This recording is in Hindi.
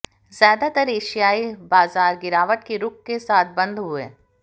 ज्यादातर एशियाई बाजार गिरावट के रुख के साथ बंद हुए